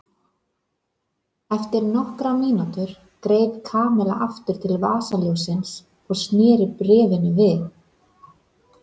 Eftir nokkra mínútur greip Kamilla aftur til vasaljóssins og snéri bréfinu við.